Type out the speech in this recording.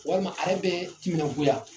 Walima ale bɛ timinan goya.